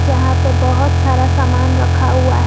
यहां पे बहोत सारा सामान रखा हुआ है।